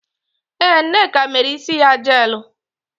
Ee, Nneka mere isi ya jeelụ.